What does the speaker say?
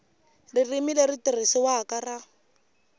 ririmi leri tirhisiwaka ra